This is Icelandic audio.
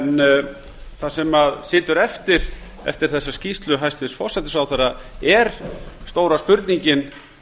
en það sem situr eftir eftir þessa skýrslu hæstvirts forsætisráðherra er stóra spurningin